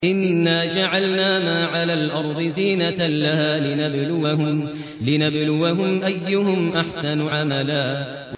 إِنَّا جَعَلْنَا مَا عَلَى الْأَرْضِ زِينَةً لَّهَا لِنَبْلُوَهُمْ أَيُّهُمْ أَحْسَنُ عَمَلًا